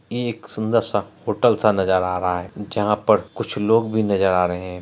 एक सुंदर सा होटल सा नजर आ रहा है जहाँ पर कुछ लोग भी नजर आ रहे है।